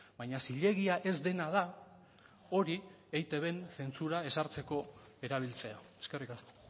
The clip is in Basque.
baina zilegia ez dena da hori eitbn zentsura ezartzeko erabiltzea eskerrik asko